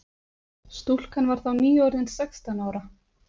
Stúlkan var þá nýorðin sextán ára